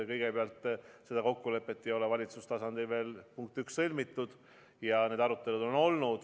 Kõigepealt, seda kokkulepet ei ole valitsuse tasandil veel sõlmitud, on olnud arutelud.